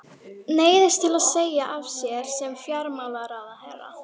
Neyðist til að segja af sér sem fjármálaráðherra.